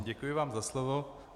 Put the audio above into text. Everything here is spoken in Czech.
Děkuji vám za slovo.